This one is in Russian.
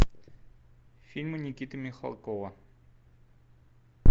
фильмы никиты михалкова